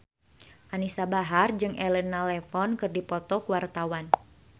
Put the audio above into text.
Anisa Bahar jeung Elena Levon keur dipoto ku wartawan